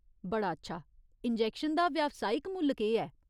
बड़ा अच्छा। इंजैक्शन दा व्यावसायिक मुल्ल केह् ऐ ?